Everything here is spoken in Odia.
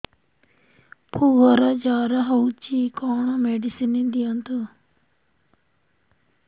ପୁଅର ଜର ହଉଛି କଣ ମେଡିସିନ ଦିଅନ୍ତୁ